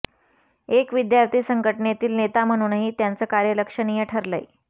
एक विद्यार्थी संघटनेतील नेता म्हणूनही त्यांचं कार्य लक्षणीय ठरलंय